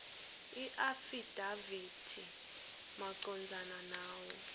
iafidavithi macondzana nawo